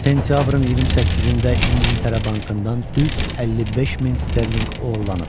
Sentyabrın 28-də İngiltərə bankından düz 55 min sterlinq oğurlanıb.